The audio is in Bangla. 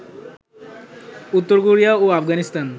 উত্তর কোরিয়া ও আফগানিস্তান